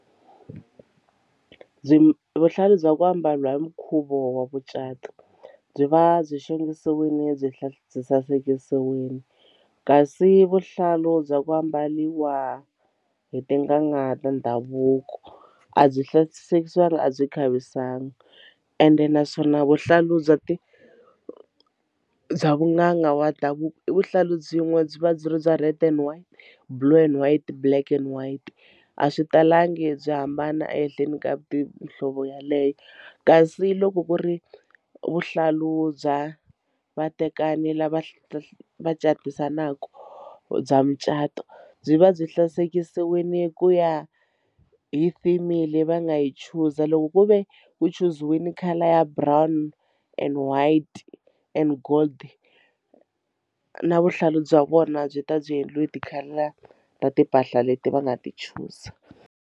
Byi vuhlalu bya ku ambariwa hi nkhuvo wa mucato byi va byi xongisiwile byi byi sasekisiwile kasi vuhlalu bya ku ambariwa hi tin'anga ta ndhavuko a byi a byi khavisiwangi ende naswona vuhlalu bya bya vunanga wa ndhavuko i vuhlalu byin'we byi va byi ri bya red and white, blue and white, black and white a swi talangi byi hambana ehenhleni ka muhlovo yaleyo kasi loko ku ri vuhlalu bya vatekani lava va va catisanaku bya mucato byi va byi sasekisiwile ku ya hi theme leyi va nga yi chuza loko ku ve u chuziwini colour ya brown and white and gold na vuhlalu bya vona byi ta byi endliwe hi ti-colour ta timpahla leti va nga ti chuza.